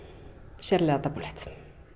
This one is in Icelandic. sérlega dapurlegt